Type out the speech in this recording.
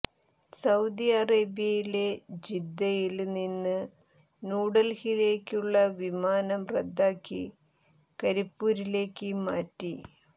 Saudi അറേബ്യയിലെ ജിദ്ദയില് നിന്ന് ന്യൂഡല്ഹിയിലേയ്ക്കുള്ള വിമാനം റദ്ദാക്കി കരിപ്പൂരിലേയ്ക്ക് മാറ്റി